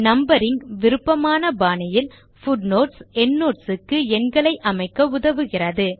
numbering விருப்பமான பாணியில் footnotes endnotes க்கு எண்களை அமைக்க உதவுகிறது